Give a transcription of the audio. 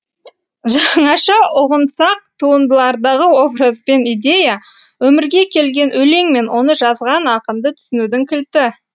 жаңаша ұғынсақ туындылардағы образ бен идея өмірге келген өлең мен оны жазған ақынды түсінудің кілті